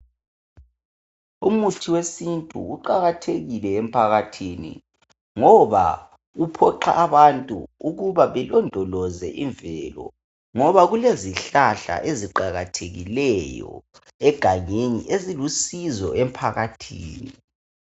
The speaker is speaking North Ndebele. Umuthi wesintu uqakathekile emphakathini ngoba uphiwa abantu ukuthi belondoloze imvelo ngoba kulezihlahla eziqakathekileyo egangeni ezilusizo emphakathini.